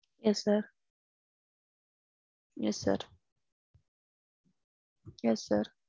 Yes sir. Yes sir. Yes sir.